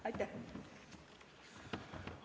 Aitäh!